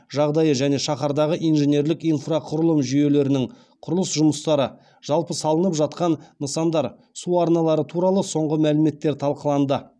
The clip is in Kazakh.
жағдайы және шаһардағы инженерлік инфрақұрылым жүйелерінің құрылыс жұмыстары жалпы салынып жатқан нысандар су арналары туралы соңғы мәліметтер талқыланды